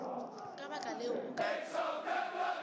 ka baka leo o ka